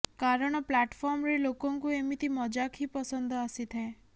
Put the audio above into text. କାରଣ ପ୍ଲାଟଫର୍ମରେ ଲୋକଙ୍କୁ ଏମିତି ମଜାକ୍ ହିଁ ପସନ୍ଦ ଆସିଥାଏ